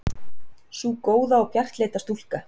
Sú góða og bjartleita stúlka.